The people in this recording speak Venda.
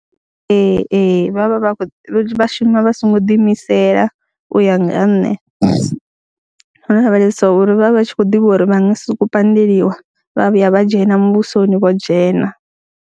Ee, ee, vha vha vha khou shuma vha songo ḓiimisela u ya nga ha nṋe, ro lavhelesa uri vha vha vha tshi khou ḓivha uri vha nga si sokou pandeliwa, vha vhuya vha dzhena muvhusoni vho dzhena.